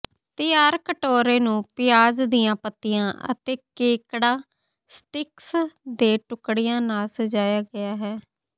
ਤਿਆਰ ਕਟੋਰੇ ਨੂੰ ਪਿਆਜ਼ ਦੀਆਂ ਪੱਤੀਆਂ ਅਤੇ ਕੇਕੜਾ ਸਟਿਕਸ ਦੇ ਟੁਕੜਿਆਂ ਨਾਲ ਸਜਾਇਆ ਗਿਆ ਹੈ